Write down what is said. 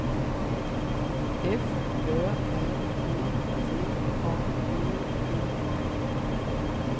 F Ö R E T A G E N